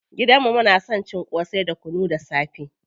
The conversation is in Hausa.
Gidan mu muna son cin ƙosai da kunu da safe.